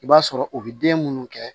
I b'a sɔrɔ u bɛ den minnu kɛ